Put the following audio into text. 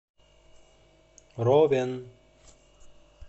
ровен